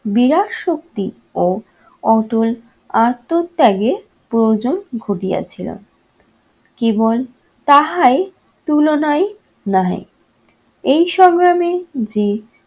বিরাট শক্তি ও অটল আত্মত্যাগের প্রয়োজন ঘটিয়া ছিল। কেবল তাহাই তুলনায় নহে। এই সংগ্রামে যে